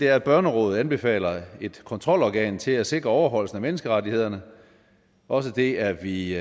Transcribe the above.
er at børnerådet anbefaler et kontrolorgan til at sikre overholdelsen af menneskerettighederne også det er vi